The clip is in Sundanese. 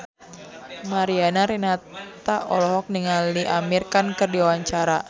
Mariana Renata olohok ningali Amir Khan keur diwawancara